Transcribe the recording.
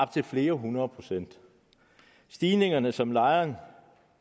til flere hundrede procent stigninger som lejeren